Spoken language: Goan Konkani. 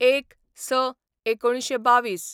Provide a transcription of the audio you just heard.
०१/०६/१९२२